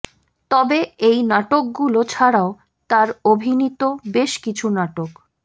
তবে এই নাটকগুলো ছাড়াও তার অভিনীত বেশ কিছু নাটক